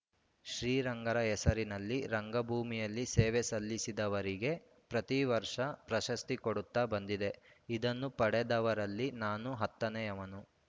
ಶ್ರೀರಂಗರ ಹೆಸರಲ್ಲಿ ರಂಗಭೂಮಿಯಲ್ಲಿ ಸೇವೆ ಸಲ್ಲಿಸಿದವರಿಗೆ ಪ್ರತಿ ವರ್ಷ ಪ್ರಶಸ್ತಿ ಕೊಡುತ್ತಾ ಬಂದಿದೆ ಇದನ್ನು ಪಡೆದವರಲ್ಲಿ ನಾನು ಹತ್ತನೇಯವನು